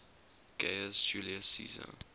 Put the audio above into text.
gaius julius caesar